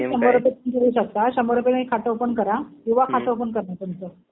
शंभर रुपये तुमच्याकडेच असतात. शंभर रुपयांमध्ये खातं ओपन करा. युवा खातं ओपन करतात तुमचं.